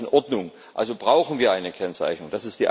Das war nicht in Ordnung. Also brauchen wir eine Kennzeichnung.